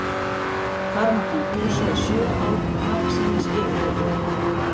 Þar mátti hann dúsa í sjö ár, margsinnis yfirheyrður.